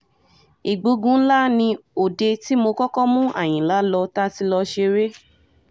ìgbógunlá ni òde tí mo kọ́kọ́ mú àyìnlá lọ tá a ti lọ́ọ́ ṣeré